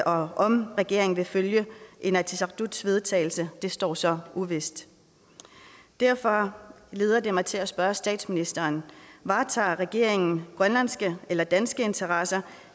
om regeringen vil følge inatsisartuts vedtagelse står så uvist derfor leder det mig til at spørge statsministeren varetager regeringen grønlandske eller danske interesser